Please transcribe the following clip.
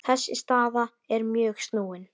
Þessi staða er mjög snúin.